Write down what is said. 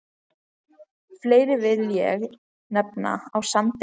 Fleiri vil ég nefna á Sandi.